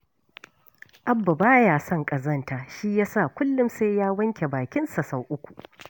Abba ba ya son ƙazanta shi ya sa kullum sai ya wanke bakinsa sau uku